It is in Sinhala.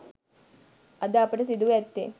අද අපට සිදුව ඇත්තේ